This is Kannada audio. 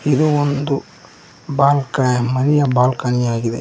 ಇದು ಒಂದು ಬಾಲ್ಕ ಮನೆಯ ಬಾಲ್ಕನಿಯಾಗಿದೆ.